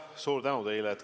Suur tänu teile!